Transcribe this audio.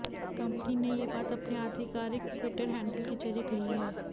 company ने यह बात अपने आधिकारिक ट्विटर हैंडल के जरिए कही है